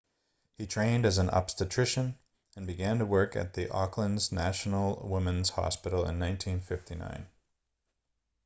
he trained as an obstetrician and began to work at the auckland's national women's hospital in 1959